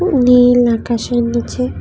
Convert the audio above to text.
নীল আকাশের নীচে।